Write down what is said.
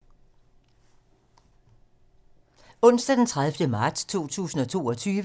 Onsdag d. 30. marts 2022